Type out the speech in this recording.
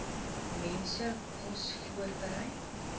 mense kos voorberei